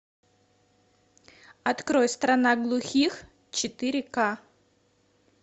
открой страна глухих четыре ка